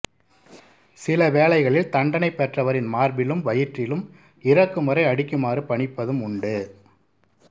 சில வேளைகளில் தண்டனை பெற்றவரின் மார்பிலும் வயிற்றிலும் இறக்கும்வரை அடிக்குமாறு பணிப்பதும் உண்டு